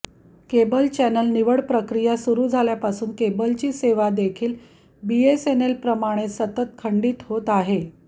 cable channel निवड प्रक्रिया सुरू झाल्यापासून केबलची सेवा देखील बीएसएनएलप्रमाणेच सतत खंडित होत आहे